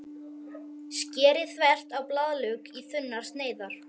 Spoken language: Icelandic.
Skerið þvert á blaðlauk í þunnar sneiðar.